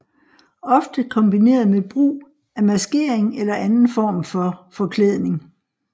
Ofte kombineret med brug af maskering eller anden form for forklædning